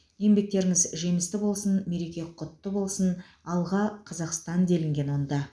еңбектеріңіз жемісті болсын мереке құтты болсын алға қазақстан делінген онда